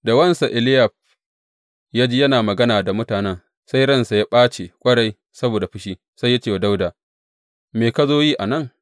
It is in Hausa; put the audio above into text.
Da wansa Eliyab, ya ji yana magana da mutanen, sai ransa ya ɓace ƙwarai saboda fushi, sai ya ce wa Dawuda, Me ka zo yi a nan?